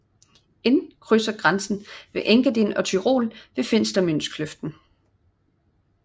Inn krydser grænsen mellem Engadin og Tyrol ved Finstermünzkløften